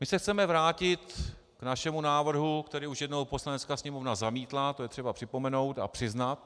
My se chceme vrátit k našemu návrhu, který už jednou Poslanecká sněmovna zamítla, to je třeba připomenout a přiznat.